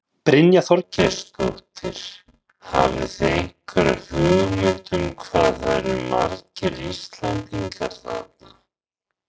Brynja Þorgeirsdóttir: Hafið þið einhverja hugmynd um hvað það eru margir Íslendingar þarna?